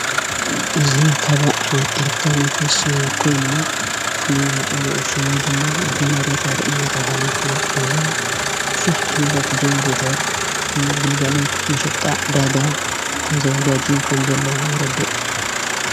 እዙይ ኻባ ኅነያት ኤሌክቶሮሚክስ ኮይኑ ፍሉ መጸዊዑ ሽቡ ድማ ጀኔሬተር እናተብሃልይ ፍለጥ እዙይ ብዙኅ ኤኅነተት ጀኔሬተር ሚግልጋሎት መሸጣእ ዳጋ ተዘጋጅ ከም ዘለ የረድእ።